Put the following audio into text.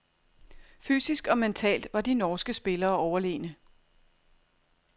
Fysisk og mentalt var de norske spillere overlegne.